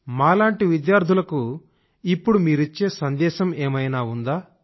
మా లాంటి విద్యార్థులకు ఇప్పుడు మీరిచ్చే సందేశం ఏదైనా ఉందా